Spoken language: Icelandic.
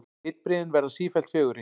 Litbrigðin verða sífellt fegurri.